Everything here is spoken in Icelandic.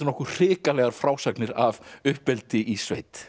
nokkuð hrikalegar frásagnir af uppeldi í sveit